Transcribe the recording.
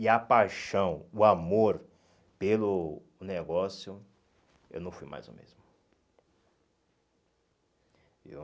E a paixão, o amor pelo negócio, eu não fui mais o mesmo. Viu